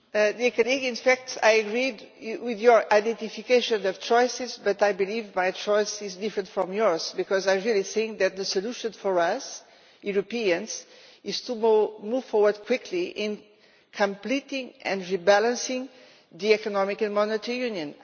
Mr Etheridge, I agree with your identification of choices, but I believe my choices are different from yours, because I really think that the solution for us Europeans is to move forward quickly in completing and rebalancing the Economic and Monetary Union.